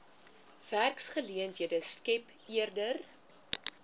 werksgeleenthede skep eerder